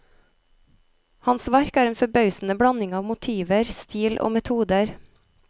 Hans verk er en forbausende blanding av motiver, stil og metoder.